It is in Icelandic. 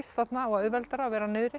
þarna og auðveldara að vera niðri